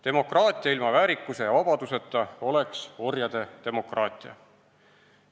Demokraatia ilma väärikuse ja vabaduseta oleks orjade demokraatia.